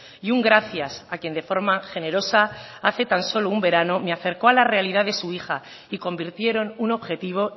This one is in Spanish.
y un gracias a quien de forma generosa hace tan solo un verano me acercó a la realidad de su hija y convirtieron un objetivo